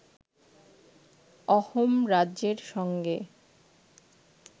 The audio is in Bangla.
অহোম রাজ্যের সঙ্গে